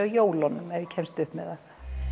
jólunum ef ég kemst upp með það